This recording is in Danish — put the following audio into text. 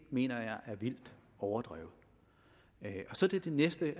mener jeg er vildt overdrevet til det næste vil